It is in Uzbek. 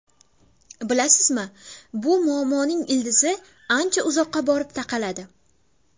Bilasizmi, bu muammoning ildizi ancha uzoqqa borib taqaladi.